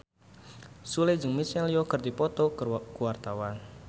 Sule jeung Michelle Yeoh keur dipoto ku wartawan